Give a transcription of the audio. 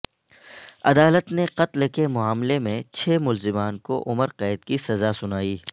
عدالت نے قتل کے معاملے میں چھ ملزمان کو عمر قید کی سزاسنائی